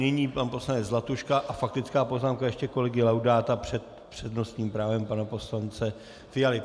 Nyní pan poslanec Zlatuška a faktická poznámka ještě kolegy Laudáta před přednostním právem pana poslance Fialy.